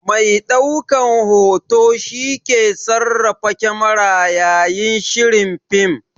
Mai ɗaukan hoto shi ke sarrafa kamara yayin shirin fim.